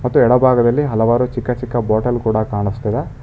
ತ್ತು ಎಡಭಾಗದಲ್ಲಿ ಹಲವಾರು ಚಿಕ್ಕ ಚಿಕ್ಕ ಬಾಟಲ್ ಕೂಡ ಕಾಣುಸ್ತಿದೆ.